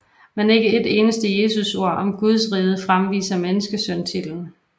Men ikke et eneste Jesusord om Gudsriget fremviser menneskesøntitlen